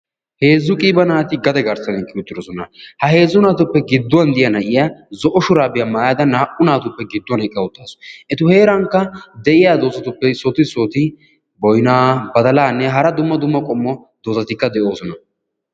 Heezzu qiiba naati gade garssan uttidoosona. Ha heezzu naatuppe gidduwa de'iya nayyiya zo'o shurabiya maayyada naa"u naatuppe gidduwan eqqa uttaasu. Etu heerankka de'iyaa doozatuppe issoti issoti boynna, badalanne hara dumma dumma qommo doozatikka de'oosona.